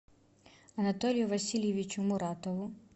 анатолию васильевичу муратову